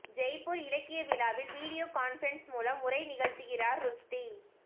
ஜெய்ப்பூர் இலக்கிய விழாவில் video conference மூலம் உரை நிகழ்த்துகிறார் ருஷ்டி